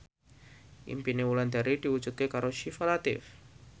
impine Wulandari diwujudke karo Syifa Latief